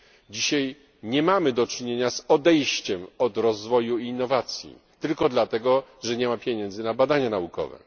Dzisiaj nie mamy do czynienia z odejściem od rozwoju i innowacji tylko dlatego, że nie ma pieniędzy na badania naukowe.